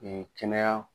kɛnɛya